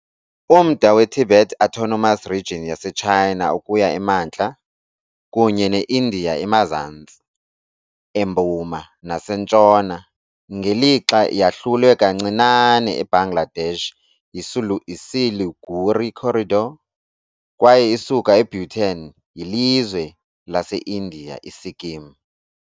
Umda weTibet Autonomous Region yaseChina ukuya emantla, kunye neIndiya emazantsi, empuma, nasentshona, ngelixa yahlulwe kancinane eBangladesh yiSiliguri Corridor, kwaye isuka eBhutan yilizwe laseIndiya iSikkim.